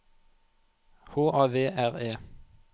H A V R E